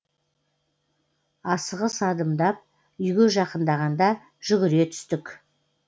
асығыс адымдап үйге жақындағанда жүгіре түстік